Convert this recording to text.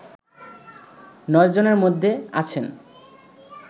নয় জনের মধ্যে আছেন